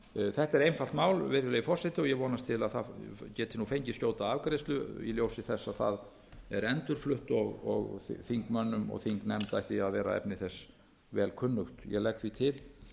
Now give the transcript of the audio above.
þetta er einfalt mál virðulegi forseti ég vonast til það geti nú fengið skjóta afgreiðslu í ljósi þess að það er endurflutt og þingmönnum og þingnefnd ætti að vera efni þess vel kunnugt ég legg því til